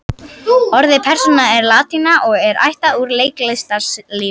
Orðið persóna er latína og er ættað úr leiklistarlífinu.